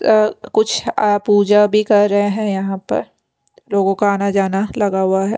अ कुछ आ पूजा भी कर रहे हैं यहाँ पर लोगों का आना जाना लगा हुआ है।